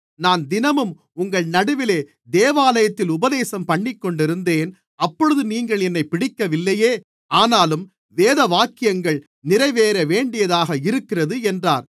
நான் தினமும் உங்கள் நடுவிலே தேவாலயத்தில் உபதேசம்பண்ணிக்கொண்டிருந்தேன் அப்பொழுது நீங்கள் என்னைப் பிடிக்கவில்லையே ஆனாலும் வேதவாக்கியங்கள் நிறைவேற வேண்டியதாக இருக்கிறது என்றார்